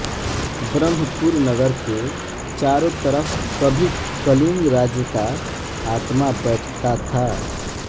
ब्रह्मपुर नगर के चारो तरफ कभी कलिंग राज्य का आत्मा बैठ ता था